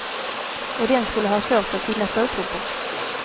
Och den skulle ha svårt att finna stödtrupper.